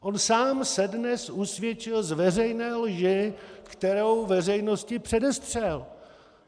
On sám se dnes usvědčil z veřejné lži, kterou veřejnosti předestřel.